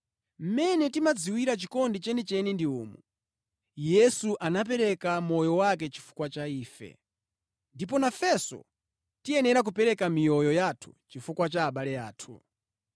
Mmene timadziwira chikondi chenicheni ndi umu: Yesu anapereka moyo wake chifukwa cha ife. Ndipo nafenso tiyenera kupereka miyoyo yathu chifukwa cha abale athu.